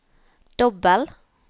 dobbel